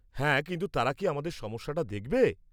হ্যাঁ, কিন্তু তারা কি আমাদের সমস্যাটা দেখবে?